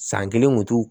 San kelen kun t'u